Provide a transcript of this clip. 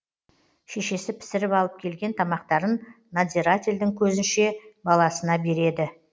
шешесі пісіріп алып келген тамақтарын надзирательдің көзінше баласына береді